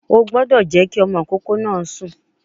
O gbọ́dọ̀ jẹ́ kí ọmọ ìkókó náà sùn